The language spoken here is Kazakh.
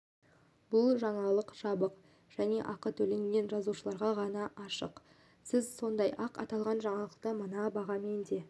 бұл жаңалық жабық және ақы төлеген жазылушыларға ғана ашық сіз сондай-ақ аталған жаңалықты мына бағамен де